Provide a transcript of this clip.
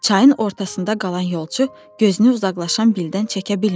Çayın ortasında qalan yolçu gözünü uzaqlaşan Bildən çəkə bilmirdi.